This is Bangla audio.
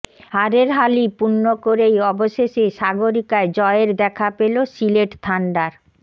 হারের হালি পূর্ণ করেই অবশেষে সাগরিকায় জয়ের দেখা পেলো সিলেট থান্ডার